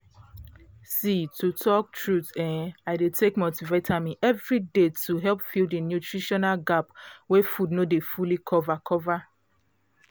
um to talk truth[um]i dey take multivitamin every day to help fill the nutritional gap wey food no dey fully cover cover